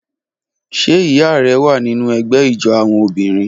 Ṣe iya rẹ wa ninu ẹgbẹ ijó awọn obinrin?